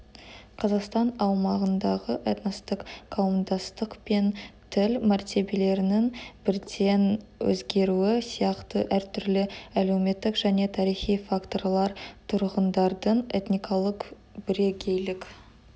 қазақстан аумағындағы этностық қауымдастық пен тіл мәртебелерінің бірден өзгеруі сияқты әртүрлі әлеуметтік және тарихи факторлар тұрғындардың этникалық бірегейлік